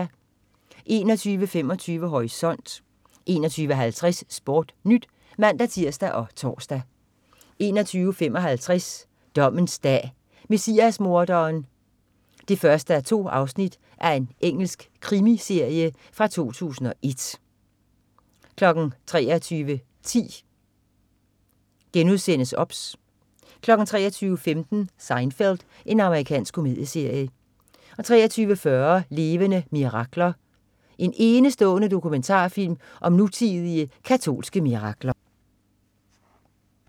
21.25 Horisont 21.50 SportNyt (man-tirs og tors) 21.55 Dommens dag: Messias-morderen 1:2. Engelsk krimi-miniserie fra 2001 23.10 OBS* 23.15 Seinfeld. Amerikansk komedieserie 23.40 Levende mirakler. En enestående dokumentarfilm om nutidige katolske mirakler